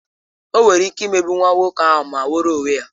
O nwere ike ịmegbu nwa nwoke ahụ ma nweere onwe ya